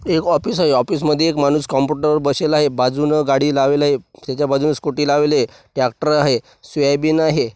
एक ऑफिस आहे ऑफिस मध्ये एक माणूस कॉम्पुटर वर बसेलआहे बाजूनं गाडी लावेल आहे त्याच्या बाजूला स्कूटी लावेलआहे ट्रॅक्टर हाय सोयाबीन आहे.